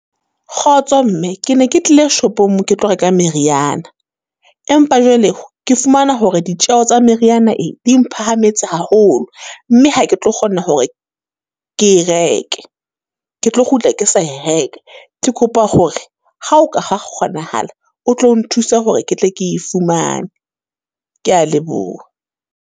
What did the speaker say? Kgotso mme, ke ne ke tlile shopong ke ke tlo reka meriana. Empa jwale ke fumana hore ditjeho tsa meriyana e, di mphahametse haholo. Mme ha ke tlo kgona hore ke e reke, ke tlo kgutla ke sa e reka. Ke kopa hore, ha ho ka ha kgonahala, o tlo nthuse hore ke tle ke e fumane. Ke ya leboha.